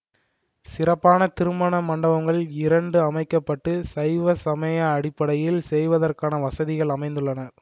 சிறப்பான திருமண மண்டபங்கள் இரண்டு அமைக்க பட்டு சைவ சமய அடிப்படையில் செய்வதற்கான வசதிகள் அமைந்துள்ளன